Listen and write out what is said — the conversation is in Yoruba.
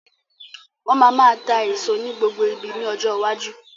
Wọn má máa tá èso ní gbogbo ibi ni ọjọ́ iwájú.